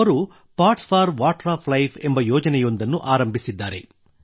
ಅವರು pots for life ಎಂಬ ಯೋಜನೆಯೊಂದನ್ನು ಆರಂಭಿಸಿದ್ದಾರೆ